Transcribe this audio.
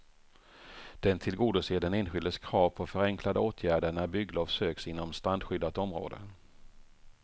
Den tillgodoser den enskildes krav på förenklade åtgärder när bygglov söks inom strandskyddat område.